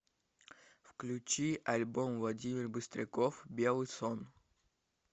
включи альбом владимир быстряков белый сон